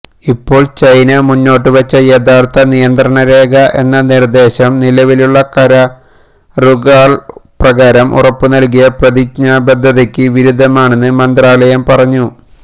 ഇപ്പോൾ ചൈന മുന്നോട്ടുവെച്ച യഥാർഥ നിയന്ത്രണരേഖ എന്ന നിർദേശം നിലവിലുള്ള കരാറുകൾപ്രകാരം ഉറപ്പുനൽകിയ പ്രതിജ്ഞാബദ്ധതയ്ക്ക് വിരുദ്ധമാണെന്ന് മന്ത്രാലയം പറഞ്ഞു